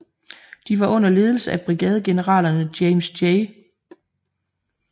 De var under ledelse af brigadegeneralerne James J